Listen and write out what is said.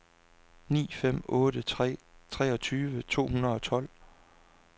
ni fem otte tre treogtyve to hundrede og tolv